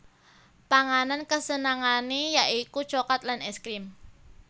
Panganan kasenengané ya iku coklat lan ès krim